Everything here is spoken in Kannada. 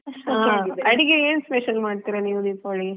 ಹಾ ಅಡುಗೆ ಏನ್ special ಮಾಡ್ತಿರಾ ನೀವ್ ದೀಪಾವಳಿಗೆ?